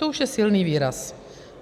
To už je silný výraz.